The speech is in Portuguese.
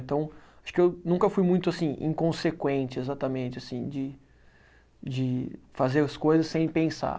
Então, acho que eu nunca fui muito assim inconsequente, exatamente, assim de de fazer as coisas sem pensar.